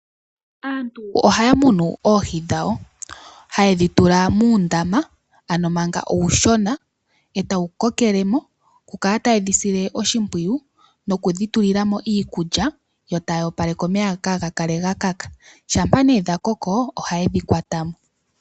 Aantu ohaya munu oohi dhawo hayedhi tula muundama ano manga uushona etawu ko kele mo, oku kala tayedhi sile oshimpwiyu, okudhi tulila mo iikulya, yo taya opaleke omeya op kaaga kale ga kaka. Shampa nee dha koko yo taye dhi kwata mo.